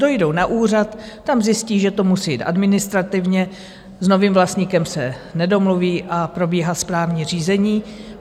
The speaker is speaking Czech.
Dojdou na úřad, tam zjistí, že to musí jít administrativně, s novým vlastníkem se nedomluví a probíhá správní řízení.